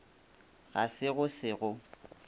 ga se go se go